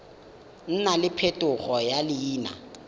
nna le phetogo ya leina